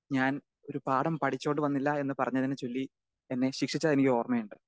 Speaker 2 ഞാൻ ഒരു പാഠം പഠിച്ചോണ്ട് വന്നില്ല എന്ന് പറഞ്ഞതിനെ ചൊല്ലി എന്നെ ശിക്ഷിച്ചതെനിക്ക് ഓർമ്മയുണ്ട്.